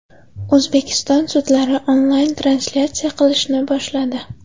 O‘zbekiston sudlari onlayn-translyatsiya qilishni boshladi.